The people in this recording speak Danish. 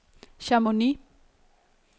Chamonix